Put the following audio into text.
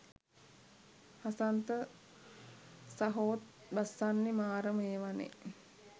හසන්ත සහෝත් බස්සන්නෙ මාරම ඒවනෙ.